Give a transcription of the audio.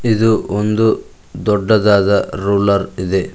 ಇದು ಒಂದು ದೊಡ್ಡದಾದ ರೂಲರ್ ಇದೆ.